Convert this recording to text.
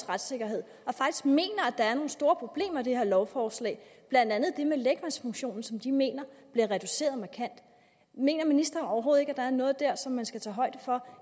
retssikkerhed og mener at der er nogle store problemer i det her lovforslag blandt andet det med lægmandsfunktionen som de mener bliver reduceret markant mener ministeren overhovedet ikke at der er noget dér som man skal tage højde for